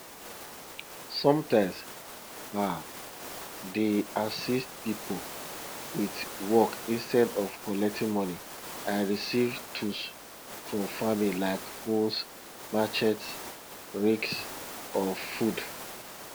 sometimes ah dey assist people with work instead of collecting money i receive tools for farming like hoes machetes rakes or food